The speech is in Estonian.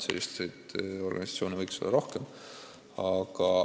Selliseid organisatsioone võiks olla rohkem.